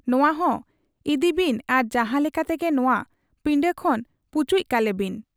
ᱱᱚᱶᱟᱦᱚᱸ ᱤᱫᱤᱵᱤᱱ ᱟᱨ ᱡᱟᱦᱟᱸ ᱞᱮᱠᱟ ᱛᱮᱜᱮ ᱱᱚᱶᱟ ᱯᱤᱲᱟᱹ ᱠᱷᱚᱱ ᱯᱩᱪᱩᱡ ᱠᱟᱞᱮ ᱵᱤᱱ ᱾'